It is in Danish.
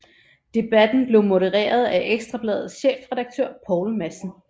Debatten blev modereret af Ekstra Bladets chefredaktør Poul Madsen